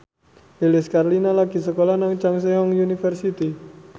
Lilis Karlina lagi sekolah nang Chungceong University